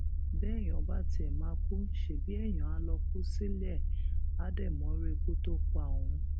béèyàn bá tiẹ máa kú ṣebí èèyàn áà lóò kú sílé e àá dé mọrú ikú tó máa pa òun